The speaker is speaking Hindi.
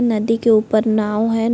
नदी के ऊपर नाव है।